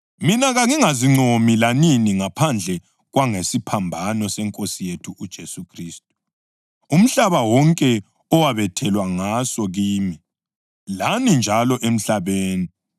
Mina kangingazincomi lanini ngaphandle kwangesiphambano seNkosi yethu uJesu Khristu, umhlaba wonke owabethelwa ngaso kimi, lami njalo emhlabeni.